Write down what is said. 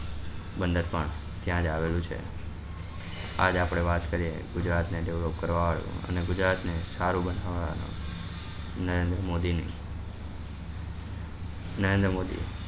બન્ને પણ ત્યાં જ આવેલું છે આજ આપડે વાત કરીએ ગુજરાત ને ગૌરવ કરવા વાળા અને ગુજરાત ને સારું બનવવા વાળા નરેન્દ્ર મોદી ની નરેન્દ્ર મોદી